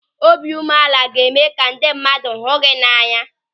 Obiụmeala ga-eme ka ndị mmadụ hụ gị n'anya.